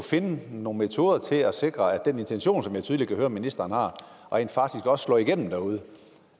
finde nogle metoder til at sikre at den intention som jeg tydeligt kan høre ministeren har rent faktisk også slår igennem derude